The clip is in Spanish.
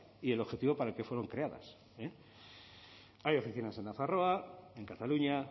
y el objetivo para el que fueron creadas hay oficinas en nafarroa en cataluña